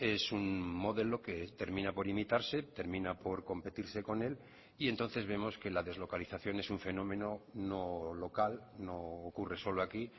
es un modelo que termina por imitarse termina por competirse con él y entonces vemos que la deslocalización es un fenómeno no local no ocurre solo aquí